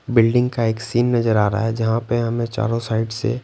building का एक scene नजर आ रहा है जहां पे हमें चारों साइड से--